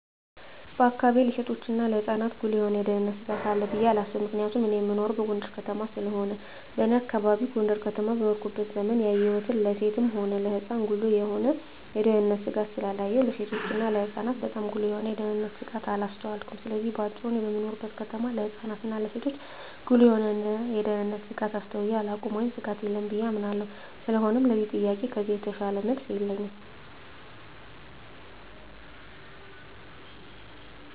በአካባቢየ ለሴቶችና ለህጻናት ጉልህ የሆነ የደህንነት ስጋት አለ ብየ አላስብም ምክንያቱም እኔ እምኖረው ጎንደር ከተማ ስለሆነ በኔ አካባቢ ጎንደር ከተማ በኖርኩበት ዘመን ያየሁን ለሴትም ሆነ ለህጻን ጉልህ የሆነ የደህንነት ስጋት ስላላየሁ ለሴቶችና ለህጻናት ባጣም ጉልህ የሆነ የደንነት ስጋት አላስተዋልኩም ስለዚህ በአጭሩ እኔ በምኖርበት ከተማ ለህጻናት እና ለሴቶች ጉልህ የሆነ የደህንነት ስጋት አስተውየ አላውቅም ወይም ስጋት የለም ብየ አምናለሁ ስለሆነም ለዚህ ጥያቄ ከዚህ የተሻለ መልስ የለኝም።